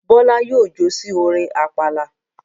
Bọ́lá yóò jó sí orin àpàlà.